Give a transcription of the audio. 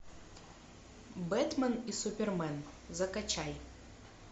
бэтмен и супермен закачай